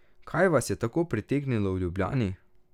Kaj vas je tako pritegnilo v Ljubljani?